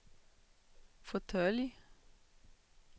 fåtölj